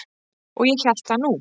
Og ég hélt það nú.